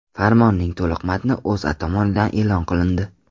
Farmonning to‘liq matni O‘zA tomonidan e’lon qilindi .